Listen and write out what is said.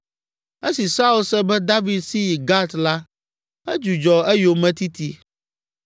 Esi Saul se be David si yi Gat la, edzudzɔ eyometiti.